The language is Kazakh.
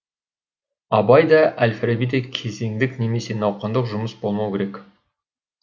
абай да әл фараби де кезеңдік немесе науқандық жұмыс болмау керек